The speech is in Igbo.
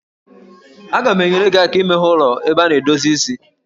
Aga m enyere gị aka imeghe ụlọ ebe a na-edozi isi